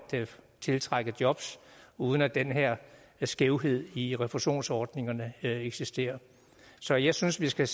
tiltrække jobs uden at den her skævhed i refusionsordningerne eksisterer så jeg synes vi skal